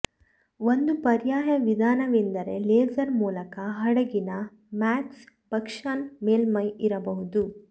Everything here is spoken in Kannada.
ಒಂದು ಪರ್ಯಾಯ ವಿಧಾನವೆಂದರೆ ಲೇಸರ್ ಮೂಲಕ ಹಡಗಿನ ಮಾಕ್ಸಿಬಸ್ಷನ್ ಮೇಲ್ಮೈ ಇರಬಹುದು